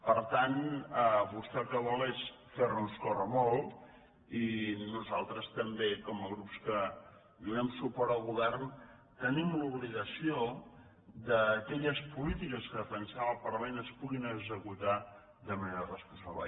per tant vostè el que vol és fer nos córrer molt i nosaltres també com a grups que donem suport al govern tenim l’obligació que aquelles polítiques que defensem al parlament es puguin executar de manera responsable